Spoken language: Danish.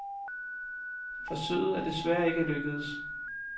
Forsøget er desværre ikke lykkedes.